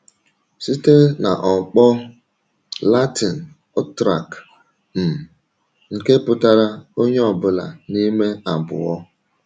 Site n’ọ̀kpọ̀ Latin utraque, um nke pụtara “onye ọbụla n’ime abụọ.”